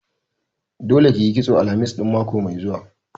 Dole ki yi kitso ran Alhamis ɗin mako mai zuwa!